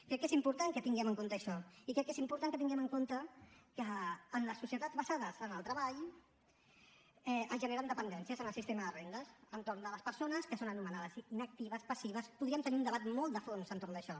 crec que és important que tinguem en compte això i crec que és important que tinguem en compte que en les societats basades en el treball es generen dependències en el sistema de rendes entorn de les persones que són anomenades inactives passives podríem tenir un debat molt de fons entorn d’això